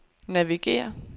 navigér